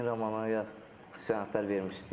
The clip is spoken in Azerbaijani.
Yenə romana sənədlər vermişdim.